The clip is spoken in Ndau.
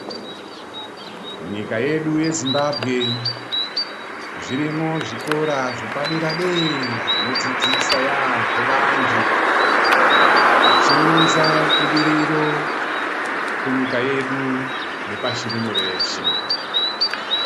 Munyika yedu ye Zimbabwe zvirimo zvikora zvepa dera dera zvino dzidzisa yambo vantu zvichi unza budiriro ku nyika yedu ne pashi rino reshe.